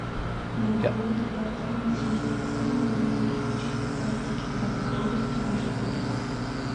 гку департамент семьи социальной и демографической политики брянской области маршрут